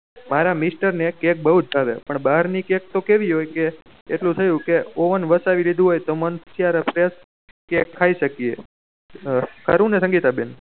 મારા મિસ્ટર ને કેક બહુ ભાવે પણ ભાહર ની કેક તો કેવી કે એટલું થયું કે ઓવેન વસાવી દીધું હોય તો મન ત્નેયારે fresh કેક કયી ખાયી સ્ક્યે ખરું ને સંગીતા બેન